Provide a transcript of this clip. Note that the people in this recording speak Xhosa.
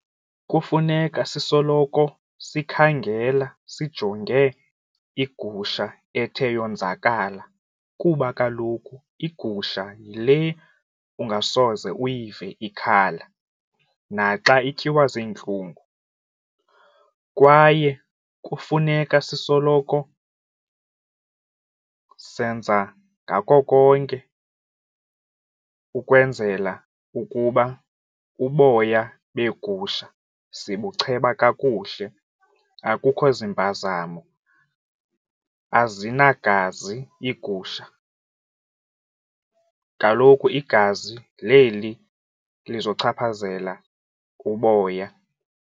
Kufuneka sisoloko sikhangela sijonge igusha ethe yonzakala kuba kaloku igusha yile ungasoze uyive ikhala naxa ityiwa ziintlungu kwaye kufuneka sisoloko senza ngako konke ukwenzela ukuba uboya beegusha sibucheba kakuhle, akukho zimpazamo, azinagazi iigusha. Kaloku igazi leli lizochaphazela uboya.